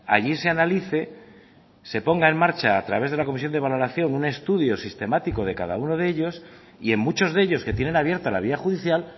allí se analice se ponga en marcha a través de la comisión de valoración un estudio sistemático de cada uno de ellos y en muchos de ellos que tienen abierta la vía judicial